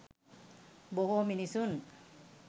බොහෝ මිනිසුන්